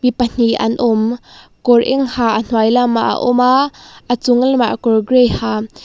mi pahnih an awm kawr eng ha a hnuai lamah a awm a a chung lam ah kawr gray ha.